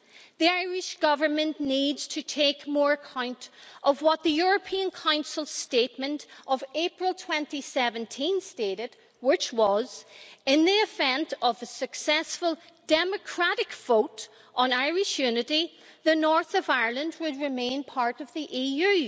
The Irish Government needs to take more account of what the European Council statement of April 2017 stated, which was In the event of a successful democratic vote on Irish unity, the north of Ireland would remain part of the EU'.